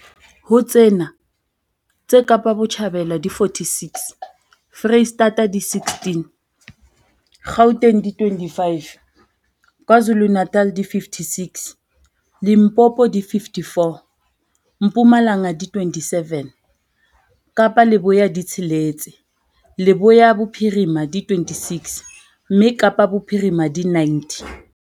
Ho tsena, tse Kapa Botjhabela di 46, Freistata di 16, Gauteng di 25, KwaZulu-Natal di 56, Limpopo di 54, Mpumalanga di 27, Kapa Leboya di tsheletse, Leboya Bophirima di 26, mme Kapa Bophirima di 90.